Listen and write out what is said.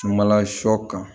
Sumala sɔ kan